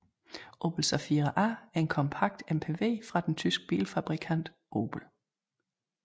Opel Zafira A er en kompakt MPV fra den tyske bilfabrikant Opel